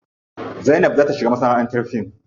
Zainab za ta shiga masanaʼantar fim.